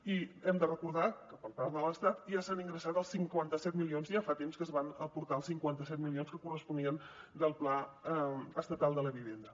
i hem de recordar que per part de l’estat ja s’han ingressat els cinquanta set milions ja fa temps que es van aportar els cinquanta set milions que corresponien del pla estatal de la vivenda